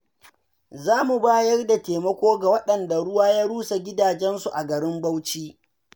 Za mu bayar da taimako ga waɗanda ruwa ya rusa gidajensu a garin Bauchi.